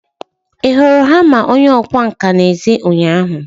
Ị hụrụ hama onye ọkwá nkà n'èzí ụnyaahụ?